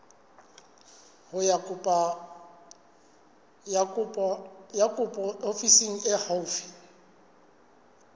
ya kopo ofising e haufi